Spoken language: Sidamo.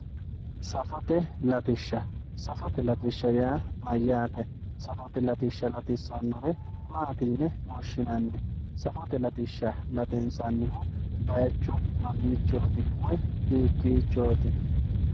safote latishsha, safote latishsha yaa mayyate? safote latishsha latissannore maati yine woshshinanni? safote latishsha latinsannihu bayiicho mamiichooti woyi hiikkiichooti.